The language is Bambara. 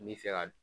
N bɛ fɛ ka